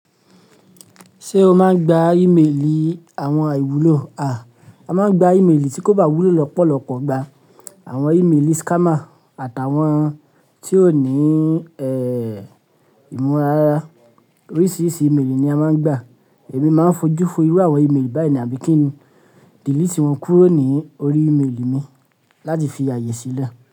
Ṣé o máa ń gba ímelì àwọn àìwúlò, à? A máa ń gba ímelì tí kò bá wúlò lọ́pọ̀lọpọ̀ gba. Àwọn ímelì scammer àtàwọn tí ó ní, ẹ́, ìmúra rárá. Oríṣiríṣi ímelì ni a máa ń gba. Èmi máa ń fojú fo irú àwọn ímelì báyìí ní àbí kí n delete wọn kúrò ní orí ímelì mi láti fi ààyè sílẹ̀.